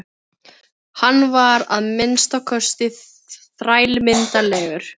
Hann var að minnsta kosti þrælmyndarlegur.